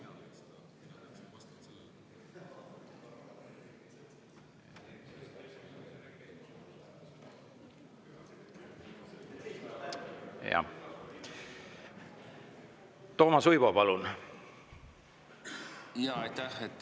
Aitäh!